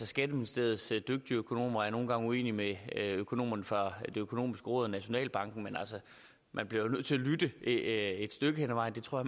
skatteministeriets dygtige økonomer er nogle gange uenige med økonomerne fra det økonomiske råd og nationalbanken men man bliver jo nødt til at lytte et stykke hen ad vejen det tror